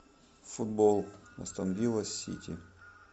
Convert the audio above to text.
футбол астон вилла сити